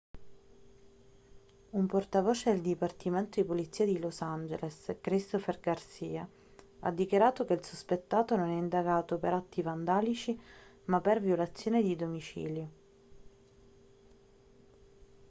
un portavoce del dipartimento di polizia di los angeles christopher garcia ha dichiarato che il sospettato non è indagato per atti vandalici ma per violazione di domicilio